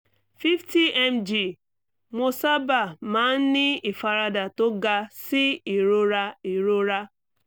50mg mo sábà máa ń ní ìfaradà tó ga sí ìrora ìrora